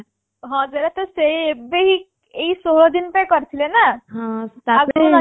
ହଁ ଯେହେତୁ ସେଇ ଏବେ ହିଁ ଏଇ ଷୋଳ ଦିନଟା କରିଥିଲେ ନା ଟା ପରେ